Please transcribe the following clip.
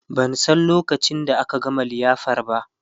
ban San lokacin da aka gama liyafar ba